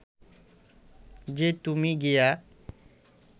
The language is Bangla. যে তুমি গিয়া